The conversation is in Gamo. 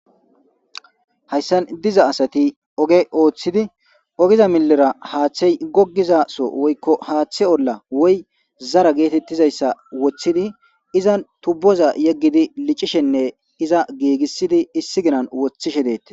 Hayssan diza asati ogge ooththidi oggeza millera haththey gogiizasso woykko haththe olla zara getettizayssa woththidi izan tuuboza yeggidi liccishenne iiza gigissidi issi giina woththishe de'ettes.